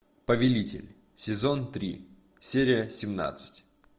повелитель сезон три серия семнадцать